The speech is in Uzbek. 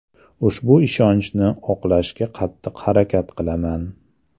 Ushbu ishonchni oqlashga qattiq harakat qilaman”.